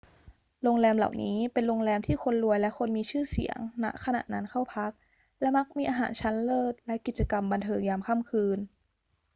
โรงแรมเหล่านี้เป็นโรงแรมที่คนรวยและคนมีชื่อเสียง ณ ขณะนั้นเข้าพัก และมักมีอาหารชั้นเลิศและกิจกรรมบันเทิงยามค่ำคืน